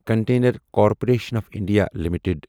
container Corporation of India limited